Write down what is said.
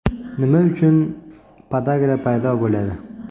Nima uchun podagra paydo bo‘ladi?